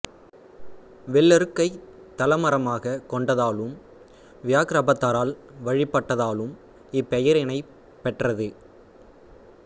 வெள்ளெருக்கைத் தல மரமாகக் கொண்டதாலும் வியாக்ரபாதரால் வழிபட்டதாலும் இப்பெயரினைப் பெற்றது